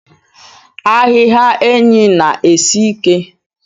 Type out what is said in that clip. Ahiha enyi na esi ike.